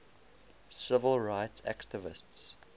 civil rights activists